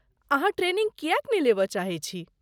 अहाँ ट्रेनिंग किएक नहि लेबय चाहैत छी?